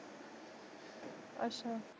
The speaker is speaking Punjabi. ਅੱਛਾ